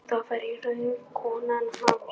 Það var raunar konan hans.